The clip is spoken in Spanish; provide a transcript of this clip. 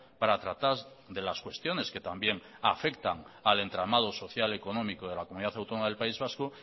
para tratar de las cuestiones que también afectan al entramado social económico de la comunidad autónoma del país vasco